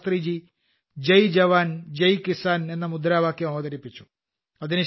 അതിനുശേഷം അടൽജി അതിൽ ജയ് കിസാൻ എന്ന മുദ്രാവാക്യം അവതരിപ്പിച്ചു